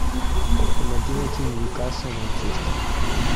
помоги найти ньюкасл манчестер